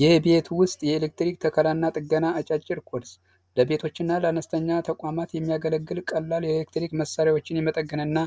የቤት ውስጥ የኤሌክትሪክ ተከራና ጥገና አጫጭር ቤቶችና ለአነስተኛ ተቋማት የሚያገለግል ቀላል የኤሌክትሪክ መሳሪያዎችን የመጠገንና